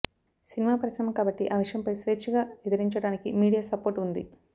cinema పరిశ్రమ కాబట్టి ఆ విషయంపై స్వేచ్ఛగా ఎదురించడానికి మీడియా సపోర్ట్ ఉంది